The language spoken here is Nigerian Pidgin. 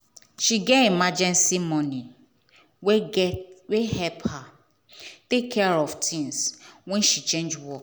she get emergency money wey get wey help her take care of things when she change work.